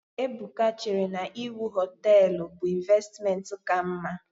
Ebuka chere na iwu hoteelu bụ ịnvestimenti ka mma.